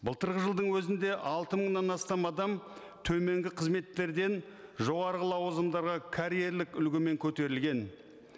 былтырғы жылдың өзінде алты мыңнан астам адам төменгі қызметтерден жоғарғы лауазымдарға карьерлік үлгімен көтерілген